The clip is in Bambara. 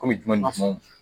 Kɔmi